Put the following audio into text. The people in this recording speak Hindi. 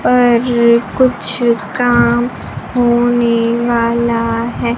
पर कुछ काम होने वाला है।